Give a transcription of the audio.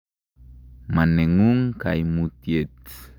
Ma neng'ung' kaimutyet.